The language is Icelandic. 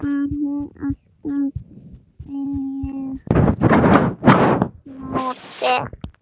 Var hún alltaf viljugt módel?